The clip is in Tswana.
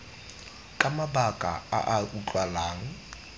ka mabaka a a utlwalang